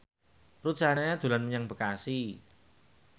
Ruth Sahanaya dolan menyang Bekasi